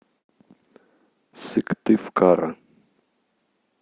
сыктывкара